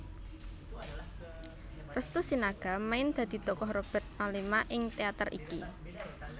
Restu Sinaga main dadi tokoh Robert Mellema ing teater iki